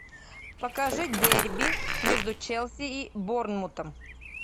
покажи дерби между челси и борнмутом